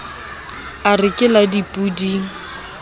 a re ke la dipoding